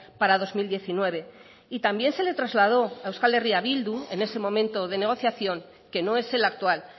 para dos mil diecinueve y también se le trasladó a euskal herria bildu en ese momento de negociación que no es el actual